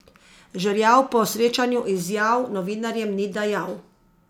Žerjav po srečanju izjav novinarjem ni dajal.